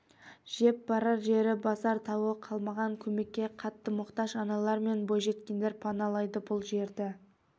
жеп барар жері басар тауы қалмаған көмекке қатты мұқтаж аналар мен бойжеткендер паналайды бұл жерді